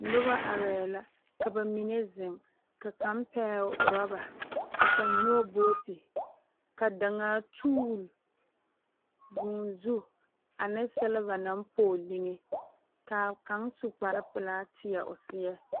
Noba arɛɛ la ka ba mine zeŋ ka kaŋa pɛgele orɔba ka kaŋ nyɔge booti ka daŋaa duul vûū zu ane selva naŋ pɔge liŋe kaa kaŋ su kpar pelaa tie o seɛ